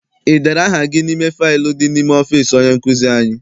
I dere aha gị n'ime faịlu dị n'ime ọfịịsi onye nkụzi anyị?